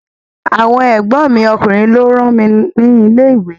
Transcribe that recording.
Àwọn ègbón mi ọkùnrin lọ rán mi ni ilé ìwé